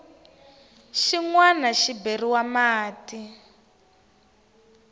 xin wana xi beriwa mati